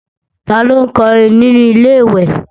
Ta ló ń kọrin nínu Ilé-ìwẹ̀